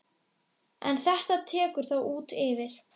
En þetta tekur þó út yfir.